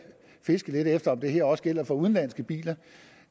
fiskede lidt efter om det her også skulle gælde for udenlandske biler